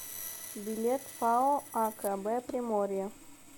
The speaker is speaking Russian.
билет пао акб приморье